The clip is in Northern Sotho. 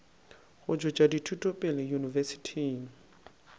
go tšwetša dithuto pele yunibesithing